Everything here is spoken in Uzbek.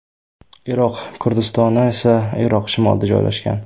Iroq Kurdistoni esa Iroq shimolida joylashgan.